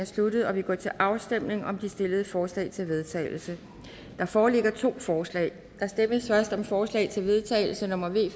sluttet og vi går til afstemning om de stillede forslag til vedtagelse der foreligger to forslag der stemmes først om forslag til vedtagelse nummer v